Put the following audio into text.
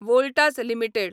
Voltas limited